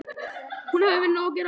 Að hún hafi nóg að gera.